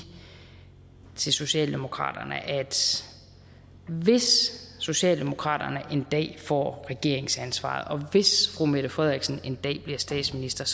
til socialdemokraterne at hvis socialdemokraterne en dag får regeringsansvaret og hvis fru mette frederiksen en dag bliver statsministeren